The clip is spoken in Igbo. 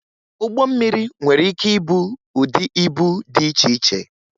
Ụgbọ mmiri nwere ike ìbú ụdị íbú dị iche iche